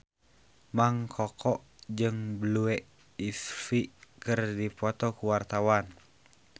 Mang Koko jeung Blue Ivy keur dipoto ku wartawan